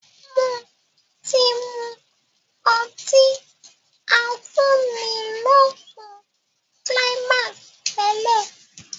Mo ti mú ọtí afúnilókun Climax tẹ́lẹ̀